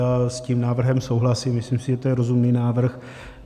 Já s tím návrhem souhlasím, myslím si, že to je rozumný návrh.